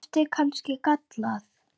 Var duftið kannski gallað?